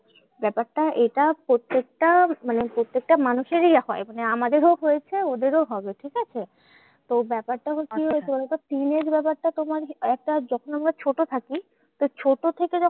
ব্যাপারটা এটা প্রত্যেকটা মানে প্রত্যেকটা মানুষেরই হয় মানে আমাদেরও হয়েছে ওদেরও হবে, ঠিকাছে? তো ব্যাপারটা হচ্ছে যে, teenage ব্যাপারটা তোমার একটা যখন আমরা ছোট থাকি সেই ছোট থেকে